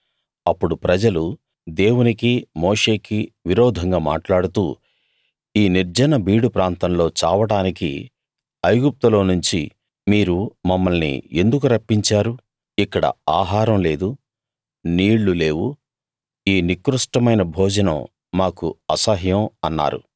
అప్పుడు ప్రజలు దేవునికి మోషేకి విరోధంగా మాట్లాడుతూ ఈ నిర్జన బీడు ప్రాంతంలో చావడానికి ఐగుప్తులోనుంచి మీరు మమ్మల్ని ఎందుకు రప్పించారు ఇక్కడ ఆహారం లేదు నీళ్లు లేవు ఈ నికృష్టమైన భోజనం మాకు అసహ్యం అన్నారు